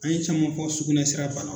An ye caman fɔ sugunɛ sira banaw